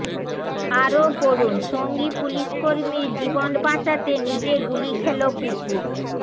আরও পড়ুন সঙ্গী পুলিসকর্মীর জীবন বাঁচাতে নিজে গুলি খেল কুকুর